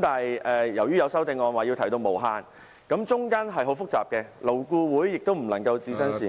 但有修正案建議改為無上限，當中牽涉的問題很複雜，勞顧會也不能置身事外......